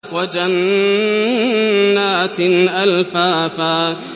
وَجَنَّاتٍ أَلْفَافًا